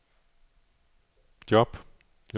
job